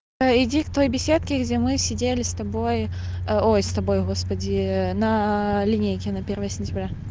иди к той беседке где мы сидели с тобой ой с тобой господи на линейке на первое сентября